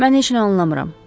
Mən heç nə anlamıram.